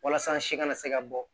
Walasa si kana se ka bɔ